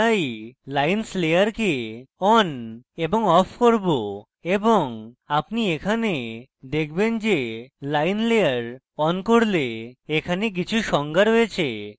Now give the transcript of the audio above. তাই lines layer on এবং off করব এবং আপনি এখানে দেখবেন যে lines layer on হলে এখানে কিছু সংজ্ঞা রয়েছে